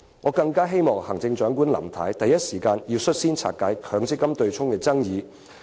"我希望行政長官林太能在第一時間率先平息有關取消強積金對沖的爭議。